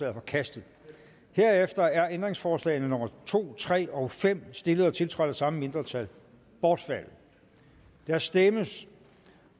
er forkastet herefter er ændringsforslagene nummer to tre og fem stillet og tiltrådt af samme mindretal bortfaldet der stemmes